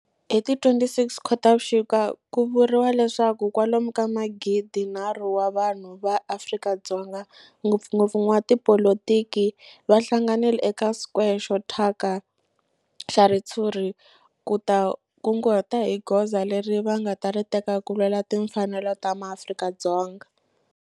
Hi ti 26 Khotavuxika ku vuriwa leswaku kwalomu ka magidinharhu wa vanhu va Afrika-Dzonga, ngopfungopfu van'watipolitiki va hlanganile eka square xo thyaka xa ritshuri ku ta kunguhata hi goza leri va nga ta ri teka ku lwela timfanelo ta maAfrika-Dzonga.